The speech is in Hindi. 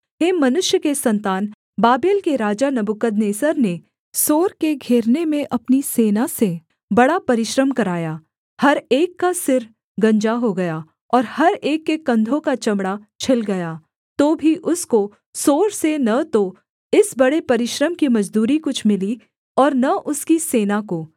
हे मनुष्य के सन्तान बाबेल के राजा नबूकदनेस्सर ने सोर के घेरने में अपनी सेना से बड़ा परिश्रम कराया हर एक का सिर गंजा हो गया और हर एक के कंधों का चमड़ा छिल गया तो भी उसको सोर से न तो इस बड़े परिश्रम की मजदूरी कुछ मिली और न उसकी सेना को